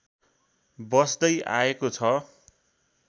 बस्दै आएको छ